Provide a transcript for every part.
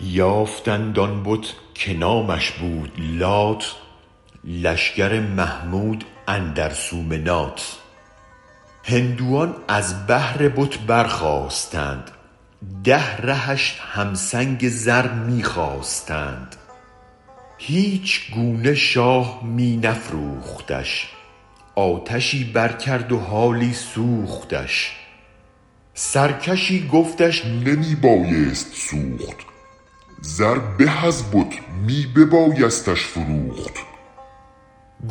یافتند آن بت که نامش بود لات لشگر محمود اندر سومنات هندوان از بهر بت برخاستند ده رهش هم سنگ زر می خواستند هیچ گونه شاه می نفروختش آتشی برکرد و حالی سوختش سرکشی گفتش نمی بایست سوخت زر به از بت می ببایستش فروخت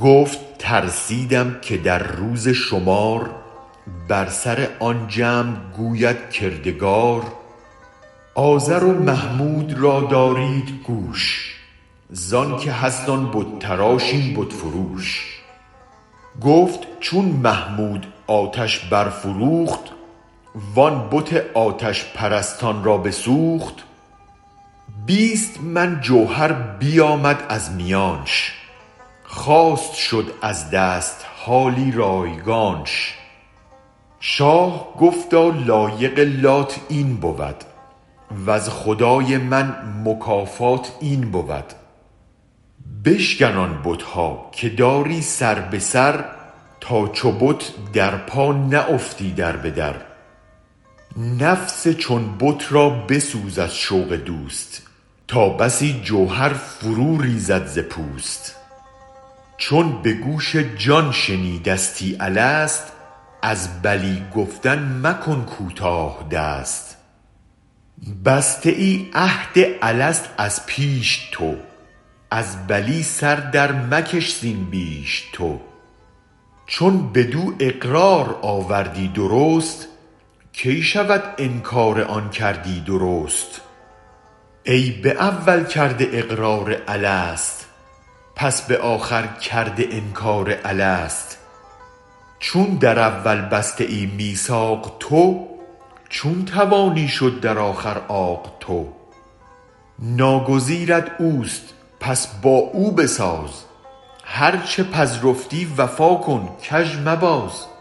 گفت ترسیدم که در روز شمار بر سر آن جمع گوید کردگار آزر و محمود را دارید گوش زانک هست آن بت تراش این بت فروش گفت چون محمود آتش برفروخت وآن بت آتش پرستان را بسوخت بیست من جوهر بیامد از میانش خواست شد از دست حالی رایگانش شاه گفتا لایق لات این بود وز خدای من مکافات این بود بشکن آن بتها که داری سر به سر تا چو بت در پا نه افتی در به در نفس چون بت را بسوز از شوق دوست تا بسی جوهر فرو ریزد ز پوست چون به گوش جان شنیدستی الست از بلی گفتن مکن کوتاه دست بسته ای عهد الست از پیش تو از بلی سر درمکش زین بیش تو چون بدو اقرار آوردی درست کی شود انکارآن کردی درست ای به اول کرده اقرار الست پس به آخر کرده انکار الست چون در اول بسته ای میثاق تو چون توانی شد در آخر عاق تو ناگزیرت اوست پس با او بساز هرچ پذرفتی وفا کن کژ مباز